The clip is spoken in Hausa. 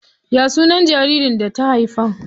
Ya sunan jaririn da ta haifa?